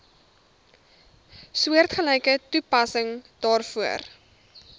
soortgelyke toepassing daarvoor